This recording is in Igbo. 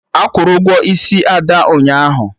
Akwụrụ Ụgwọ isi Ada ụnyaahụ